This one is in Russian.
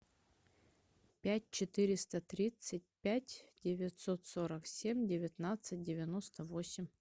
пять четыреста тридцать пять девятьсот сорок семь девятнадцать девяносто восемь